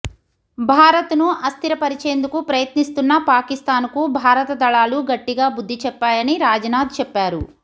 భారత్ ను అస్థిర పరిచేందుకు ప్రయత్నిస్తున్న పాకిస్థాన్ కు భారత దళాలు గట్టిగా బుద్ధి చెప్పాయని రాజ్ నాథ్ చెప్పారు